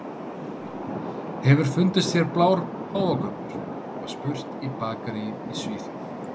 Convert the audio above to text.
Hefur fundist hérna blár páfagaukur? var spurt í bakaríi í Svíþjóð.